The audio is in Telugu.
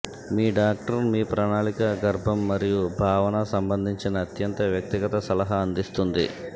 మీ డాక్టర్ మీ ప్రణాళిక గర్భం మరియు భావన సంబంధించిన అత్యంత వ్యక్తిగత సలహా అందిస్తుంది